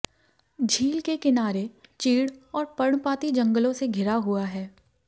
झील के किनारे चीड़ और पर्णपाती जंगलों से घिरा हुआ है